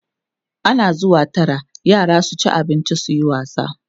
ana zuwa Tara yara su ci abinci suyi wasa